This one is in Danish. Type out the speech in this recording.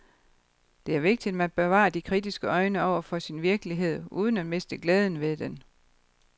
Det er vigtigt, at man bevarer de kritiske øjne over for sin virkelighed uden at miste glæden ved den.